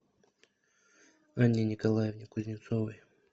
анне николаевне кузнецовой